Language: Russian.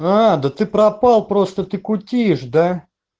да ты пропал просто ты кутишь да